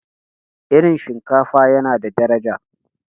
irin shinkafa yana da daraja